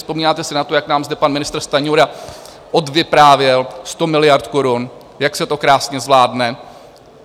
Vzpomínáte si na to, jak nám zde pan ministr Stanjura odvyprávěl 100 miliard korun, jak se to krásně zvládne?